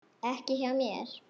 Ekki hjá mér.